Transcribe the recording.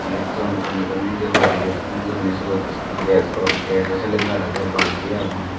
eyot ton ranodonedey horiyet hung gurine suot gasjo gasjo sylendar aage balti agon.